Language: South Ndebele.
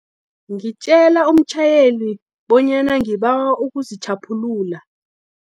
Ngitjele umtjhayeli, bonyana ngibawa ukuzitjhaphulula.